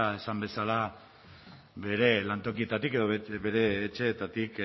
esan bezala bere lantokietatik edo bere etxeetatik